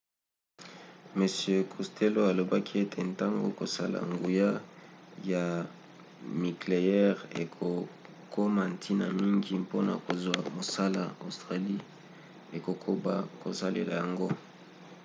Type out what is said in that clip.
m costello alobaki ete ntango kosala nguya ya nikleyere ekokoma ntina mingi mpona kozwa mosola australie ekokoba kosalela yango